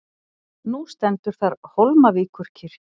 Nú stendur þar Hólmavíkurkirkja.